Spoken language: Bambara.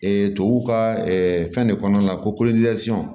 tubabu ka fɛn de kɔnɔna la ko